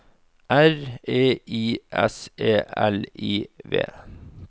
R E I S E L I V